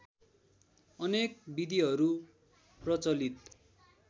अनेक विधिहरू प्रचलित